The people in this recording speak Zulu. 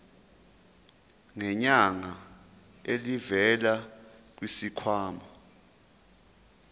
ngenyanga elivela kwisikhwama